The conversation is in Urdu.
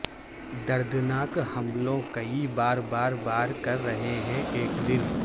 دردناک حملوں کئی بار بار بار کر رہے ہیں ایک دن